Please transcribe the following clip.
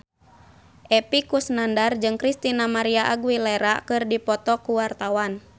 Epy Kusnandar jeung Christina María Aguilera keur dipoto ku wartawan